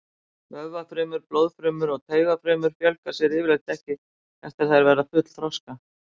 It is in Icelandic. Vöðvafrumur, blóðfrumur og taugafrumur fjölga sér yfirleitt ekki eftir að þær verða fullþroska.